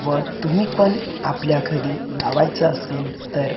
व तुम्ही पण आपल्या घरी लावायचं असेल तर --